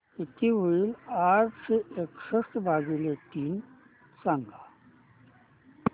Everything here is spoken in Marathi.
किती होईल आठशे एकसष्ट भागीले तीन सांगा